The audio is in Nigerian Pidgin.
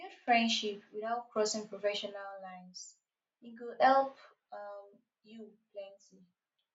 build friendship without crossing professional lines e go help um you plenty